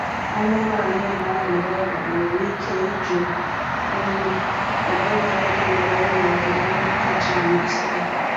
Anụmanụ na-arịa ọrịa nwere ike ịjụ nri ọbụlagodi mgbe enyere ya nri kacha amasị ya.